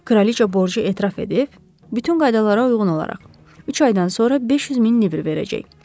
Kraliça borcu etiraf edib, bütün qaydalara uyğun olaraq, üç aydan sonra 500 min libir verəcək.